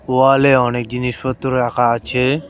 ওয়াল -এ অনেক জিনিসপত্র রাখা আছে।